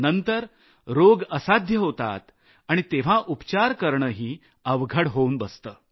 नंतर रोग असाध्य होतात आणि तेव्हा उपचार करणंही अवघड होऊन बसतं